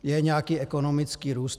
Je nějaký ekonomický růst.